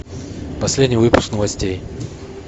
последний выпуск новостей